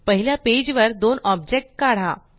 पहिल्या पेज वर दोन ऑबजेक्ट काढा